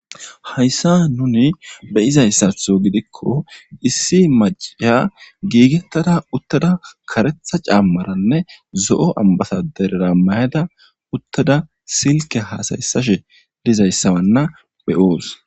hayssa nuni beyizayssatho gidikko issi maciya giigettada uttada karetha caammaranne zo7o ambataderera mayada uttada silke haasayessashe lizayssawanna beyoos